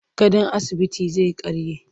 Gadon asibitin zai karye.